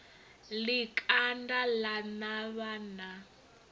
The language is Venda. ḽi kanda ḽa navha na